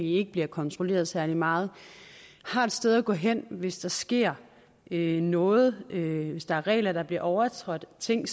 ikke bliver kontrolleret særlig meget har et sted at gå hen hvis der sker noget noget hvis der er regler der bliver overtrådt ting